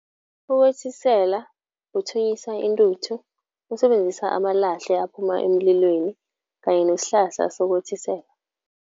Ukothisela kuthunyisa intuthu usebenzisa amalahle aphuma emlilweni kanye nesihlahla sokothisela.